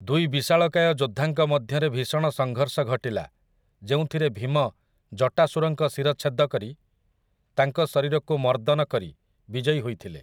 ଦୁଇ ବିଶାଳକାୟ ଯୋଦ୍ଧାଙ୍କ ମଧ୍ୟରେ ଭୀଷଣ ସଂଘର୍ଷ ଘଟିଲା, ଯେଉଁଥିରେ ଭୀମ ଜଟାସୁରଙ୍କ ଶିରଚ୍ଛେଦ କରି, ତାଙ୍କ ଶରୀରକୁ ମର୍ଦ୍ଦନ କରି ବିଜୟୀ ହୋଇଥିଲେ ।